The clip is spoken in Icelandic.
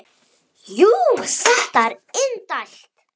Jú, þetta er indælt